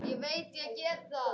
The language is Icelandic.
Ég veit ég get það.